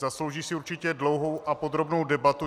Zaslouží si určitě dlouhou a podrobnou debatu.